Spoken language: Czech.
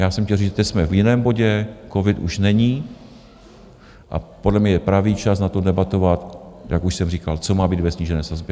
Já jsem chtěl říct: teď jsme v jiném bodě, covid už není a podle mě je pravý čas na to, debatovat, jak už jsem říkal, co má být ve snížené sazbě.